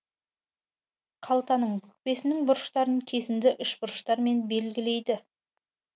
қалтаның бүкпесіннің бұрыштарын кесінді үшбұрыштармен белгілейді